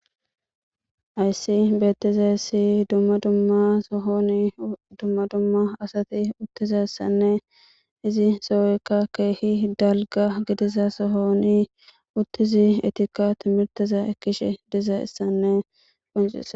Hayssi beettiza issi dumma dumma sohoni dumma dumma asati uttiza issanne izi sohoykka keehi dalga gidiza sohoni uttizi etikka timirtiza ekkishe diza issanne qoncisa